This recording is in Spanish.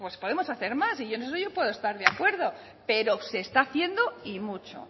pues podemos hacer más y en eso yo puedo estar de acuerdo pero se está haciendo y mucho